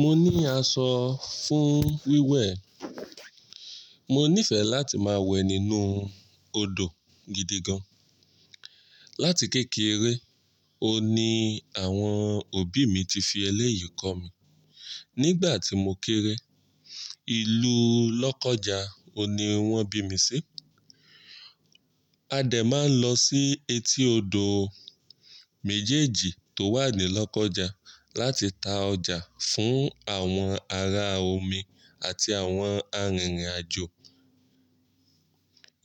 Mo ní aṣọ fún wíwẹ̀. Mo nífẹ̀ẹ́ láti máa wẹ̀ nínú odò gidi gan. Lati kékeré, òun ní àwọn òbí mi ti fi eléyìí kọ́ mi. Nígbà tí mo kéré, ìlú Lọ́kọ́ja òní wọ́n bí mi sí. A dè máa ń lọ sí etí odò méjèèjì tó wà ní Lọ́kọ́ja láti ta ọjà fún àwọn ará omi àti àwọn arìnrìn-àjò.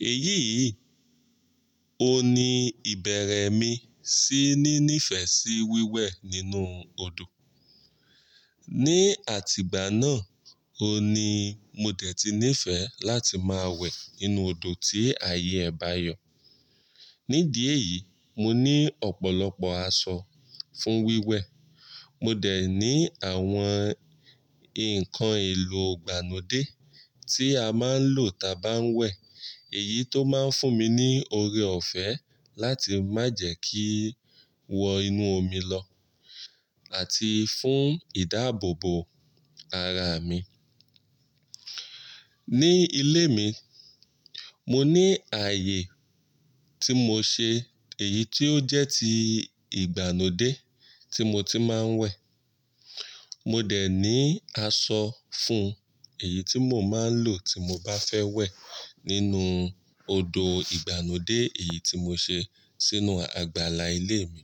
Èyí yìí òun ní ìbẹ̀rẹ̀ mi sí ní nífẹ̀ẹ́ sí wíwẹ̀ nínú odò. Ni àtìgbà náà, òun ní mo dẹ̀ ti nífẹ̀ẹ́ láti máa wẹ̀ nínú odò tí ààyè bá yo. Ní dí ẹ̀yìí, mo ní ọ̀pọ̀lọpọ̀ aṣọ fún wíwẹ̀. Mo dẹ̀ ní àwọn ǹkan èlò ìgbà nú dé tí a máa ń lò tà bá ń wẹ̀ èyí tó máa ń fún mi ní oore ọ̀fẹ́ láti má jẹ̀ ẹ́ kí wọ inú omi lọ àti fún ìdáàbòbò ara mi. Ni ilé mi, mo ní ààyè tí mo ṣe èyí tí ó jẹ́ ti ìgbà nú dé tí mo ti máa ń wẹ̀. Mo dẹ̀ ní aṣọ fún èyí tí mo máa ń lò tí mo bá fẹ́ wẹ̀ nínú odò ìgbà núdé èyí tí mo ṣe sínú àgbàlá ilé mi.